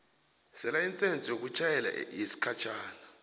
selayisense yokutjhayela yesikhatjhana